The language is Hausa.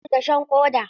An yi wa Tukur dashen ƙoda.